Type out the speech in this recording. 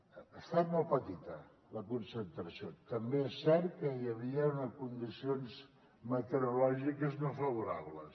ha estat molt petita la concentració també és cert que hi havia unes condicions meteorològiques no favorables